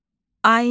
Ayna.